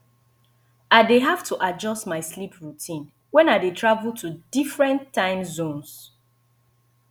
i dey have to adjust my sleep routine when i dey travel to different time zones